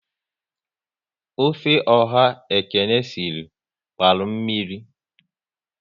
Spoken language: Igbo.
Ofe ọha Ekene sịrị gbara mmiri